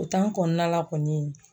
kɔnɔna la kɔni